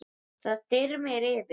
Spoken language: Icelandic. Það þyrmir yfir.